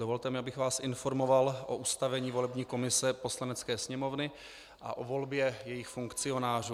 Dovolte mi, abych vás informoval o ustavení volební komise Poslanecké sněmovny a o volbě jejích funkcionářů.